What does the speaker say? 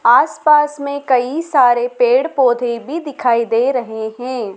आस पास में कई सारे पेड़ पौधे भी दिखाई दे रहे हैं।